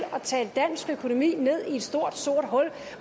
at tale dansk økonomi ned i et stort sort hul